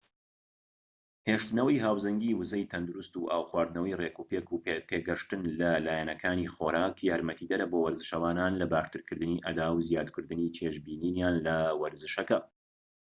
هێشتنەوەی هاوسەنگیی وزەی تەندروست و ئاو خواردنەوەی ڕێكوپێك و تێگەشتن لە لایەنەکانی خۆراك یارمەتیدەرە بۆ وەرزشەوانان لە باشترکردنی ئەدا و زیادکردنی چێژبینینیان لە وەرزشەکە